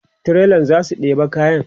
trailan zasu ɗeba kayan